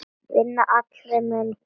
Vinnan allra meina bót.